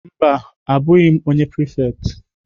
Mba, abụghị m onye prefect.